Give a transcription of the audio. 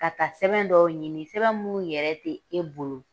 Ka taa sɛbɛn dɔ ɲini sɛbɛn minnu yɛrɛ tɛ e bolo!